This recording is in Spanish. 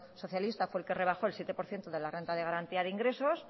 socialista fue el que rebajó el siete por ciento de la renta de garantía de ingresos